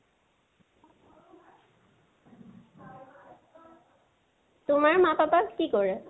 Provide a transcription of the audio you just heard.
তোমাৰ মা papa ই কি কৰে?